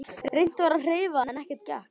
Reynt var að hreyfa það en ekkert gekk.